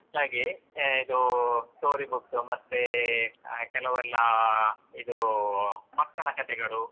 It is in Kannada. ಹಾಗೆ ಹಾ ಇದು story books ಮತ್ತೆ ಅಹ್ ಕೆಲವೆಲ್ಲಾ ಇದು ಮಕ್ಕಳ ಕಥೆಗಳು.